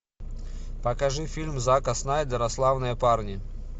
покажи фильм зака снайдера славные парни